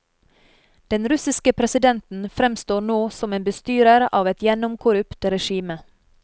Den russiske presidenten fremstår nå som en bestyrer av et gjennomkorrupt regime.